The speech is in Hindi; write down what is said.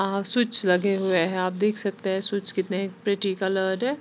आ स्विच्स लगे हुए हैं आप देख सकते हैं स्विच कितने प्रिटी कलर्ड हैं।